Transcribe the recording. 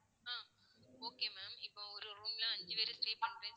ஆஹ் okay ma'am இப்போ ஒரு room ல அஞ்சு பேர் stay பண்றீங்களா?